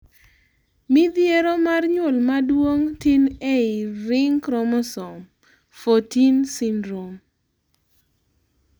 mithiero mar nyuol maduong tin ei ring chromososmes 14 syndrome